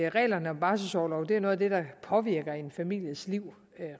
reglerne om barselsorlov er noget af det der påvirker en families liv